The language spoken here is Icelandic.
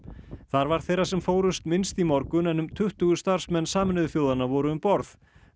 þar var þeirra sem fórust minnst í morgun en um tuttugu starfsmenn Sameinuðu þjóðanna voru um borð